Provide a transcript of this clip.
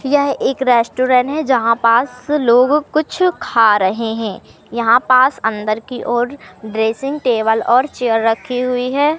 यह एक रेस्टोरेंट है जहां पास लोग कुछ खा रहे हैं यहां पास अंदर की ओर ड्रेसिंग टेबल और चेयर रखी हुई है।